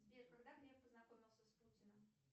сбер когда греф познакомился с путиным